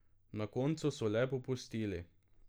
Na koncu so le popustili.